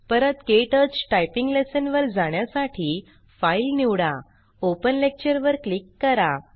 परत क्टच typing lesson वर जाण्यासाठी फाइल निवडा ओपन लेक्चर वर क्लिक करा